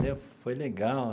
Foi legal.